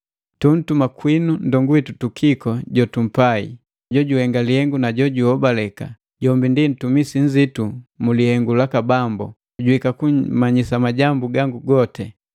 Tuntuma kwinu nndongu witu Tukiko jotumpai, jojuhenga lihengu na jojuhobaleka, jombi ndi ntumisi nzitu mu lihengu laka Bambu, juhika kummanyisa majambu gangu gote.